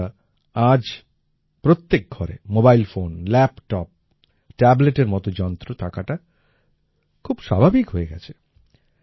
বন্ধুরা আজ প্রত্যেক ঘরে মোবাইল ফোন ল্যাপটপ ট্যাবলেটের মতো যন্ত্র থাকাটা খুব স্বাভাবিক হয়ে গেছে